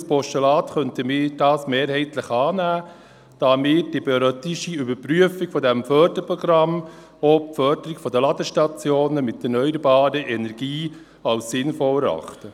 Als Postulat könnten wir diese Ziffer mehrheitlich annehmen, da wir die periodische Überprüfung dieses Förderprogramms und auch die Förderung von Ladestationen mit erneuerbarer Energie als sinnvoll erachten.